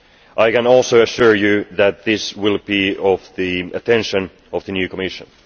I can also assure you that this will have the attention of the new Commission.